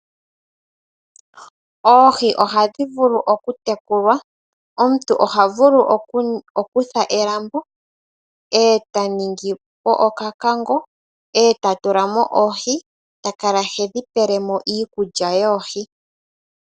Oohi oha dhi vulu okutekulwa. Omuntu oha vulu okutha elambo e ta ningi po okako, e ta tula mo oohi ta kala he dhi pele mo iikulya yoohi.